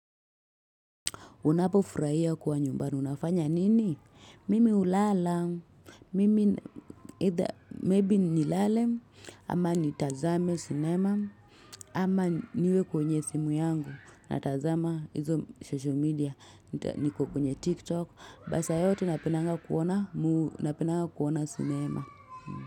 Unapo furahia kuwa nyumbani, unafanya nini? Mimi ulala, mimi either maybe nilale, ama nitazame sinema, ama niwe kwenye simu yangu, natazama hizo social media, niko kwenye tiktok, basa yote napendanga kuona, napendanga kuona sinema.